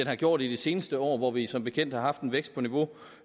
har gjort i de seneste år hvor vi som bekendt har haft en vækst på niveau